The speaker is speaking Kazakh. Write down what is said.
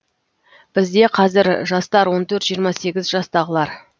бізде қазір жастар он төрт жиырма сегіз жастағылар